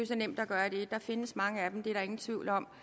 så nemt at gøre det der findes mange af dem det er der ingen tvivl om